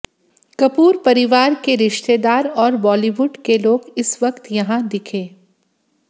कपूर परिवार के रिश्तेदार और बॉलीवुड के लोग इस वक्त यहां दिखे